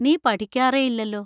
നീ പഠിക്കാറെയില്ലല്ലോ.